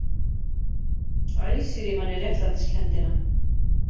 Æsir í manni réttlætiskenndina